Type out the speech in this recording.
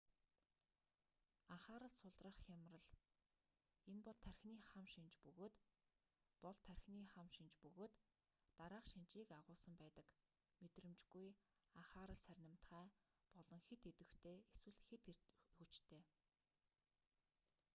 анхаарал сулрах хямрал энэ бол тархины хам шинж бөгөөд бол тархины хам гмнж бөгөөд дараах шинжийг агуулсан байдаг мэдрэмжгүй анхаарал сарнимтгай болон хэт идвэхтэй эсвэл хэт эрч хүчтэй